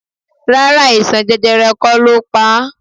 Rárá, àìsàn jẹjẹrẹ kó lo pa á.